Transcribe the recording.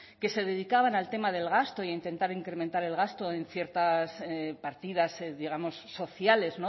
que se dedicaban al tema del gasto e intentar incrementar el gasto en ciertas partidas digamos sociales